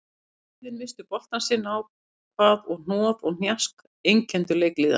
Liðin misstu boltann sitt á hvað og hnoð og hnjask einkenndu leik liðanna.